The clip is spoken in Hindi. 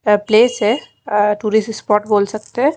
एक प्लेस है टूरिस्ट स्पॉट बोल सकते हैं।